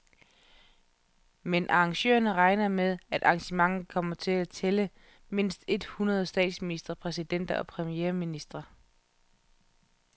Men arrangørerne regner med, at arrangementet kommer til at tælle mindst et hundrede statsministre, præsidenter og premierministre.